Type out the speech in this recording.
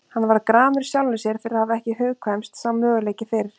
Hann varð gramur sjálfum sér fyrir að hafa ekki hugkvæmst sá möguleiki fyrr.